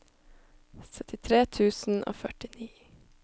syttitre tusen og førtini